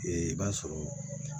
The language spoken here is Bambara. i b'a sɔrɔ